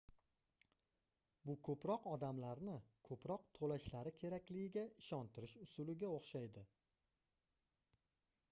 bu koʻproq odamlarni koʻproq toʻlashlari kerakligiga ishontirish usuliga oʻxshaydi